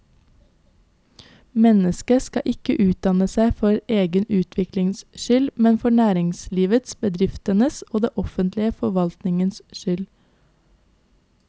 Mennesket skal ikke utdanne seg for egen utviklings skyld, men for næringslivets, bedriftenes og den offentlige forvaltningens skyld.